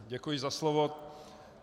Děkuji za slovo.